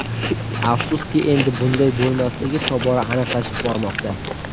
Afsuski, endi bunday bo‘lmasligi tobora aniqlashib bormoqda.